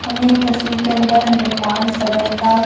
हमें तस्वीर के अंदर निर्माण सदन का--